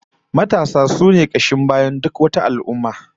Matasa sune kashin bayan duk wata al'ummah